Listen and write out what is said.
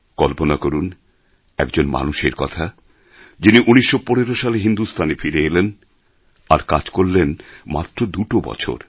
কল্পনা করুন এক জন মানুষের কথা যিনি ১৯১৫ সালে হিন্দুস্থানে ফিরে এলেন কাজ করলেন মাত্র দুটো বছর